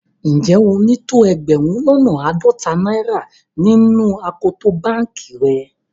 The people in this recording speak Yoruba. Njẹ́ o ni tó ẹgbérùn lọ́nà aádọ́tà naira nínu akòtò bankì rẹ̀?